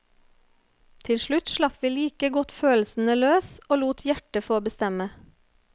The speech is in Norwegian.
Til slutt slapp vi like godt følelsene løs og lot hjertet få bestemme.